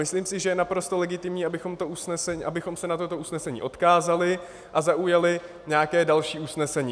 Myslím si, že je naprosto legitimní, abychom se na toto usnesení odkázali a zaujali nějaké další usnesení.